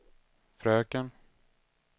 fröken